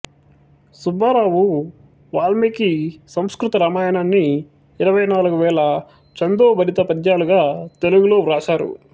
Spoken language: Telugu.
సుబ్బారావు వాల్మీకి సంస్కృత రామాయణాన్ని ఇరవై నాలుగు వేల ఛందో భరిత పద్యాలుగా తెలుగులో వ్రాశారు